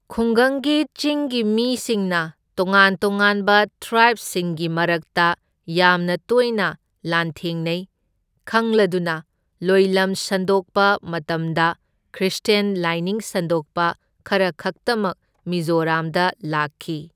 ꯈꯨꯒꯪꯒꯤ ꯆꯤꯡꯒꯤ ꯃꯤꯁꯤꯡꯅ ꯇꯣꯉꯥꯟ ꯇꯣꯉꯥꯟꯕ ꯇ꯭ꯔꯥꯕꯁꯤꯡꯒꯤ ꯃꯔꯛꯇ ꯌꯥꯝꯅ ꯇꯣꯏꯅ ꯂꯥꯟꯊꯦꯡꯅꯩ ꯈꯪꯂꯗꯨꯅ ꯂꯣꯏꯂꯝ ꯁꯟꯗꯣꯛꯄ ꯃꯇꯝꯗ ꯈ꯭ꯔꯤꯁꯇ꯭ꯌꯥꯟ ꯂꯥꯏꯅꯤꯡ ꯁꯟꯗꯣꯛꯄ ꯈꯔꯈꯛꯇꯃꯛ ꯃꯤꯖꯣꯔꯥꯝꯗ ꯂꯥꯛꯈꯤ꯫